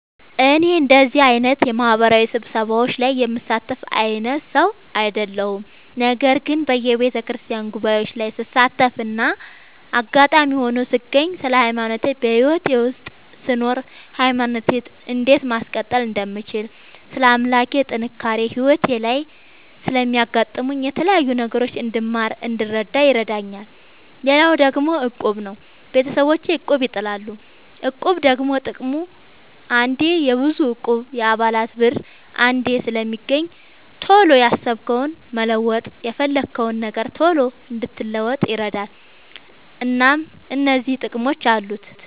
እኔ እንደዚህ አይነት የማህበራዊ ስብሰባዎች ላይ የምሳተፍ አይነት ሰው አይደለሁም። ነገር ግን በየቤተክርስቲያን ጉባኤዎች ላይ ስሳተፍና አጋጣሚ ሆኖ ስገኝ ስለ ሃይማኖቴ በህይወቴ ውስጥ ስኖር ሃይማኖቴን እንዴት ማስቀጠል እንደምችል ስለ አምላኬ ስለ ጥንካሬ ህይወቴ ላይ ስለሚያጋጥሙኝ የተለያዩ ነገሮች እንድማር እንድረዳ ይረዳኛል። ሌላው ደግሞ እቁብ ነው። ቤተሰቦቼ እቁብ ይጥላሉ። እቁብ ደግሞ ጥቅሙ አንዴ የብዙ እቁብ የአባላት ብር አንዴ ስለሚገኝ ቶሎ ያሰብከውን መለወጥ የፈለግከውን ነገር ቶሎ እንድትለውጥ ይረዳል። እናም እነዚህ ጥቅሞች አሉት።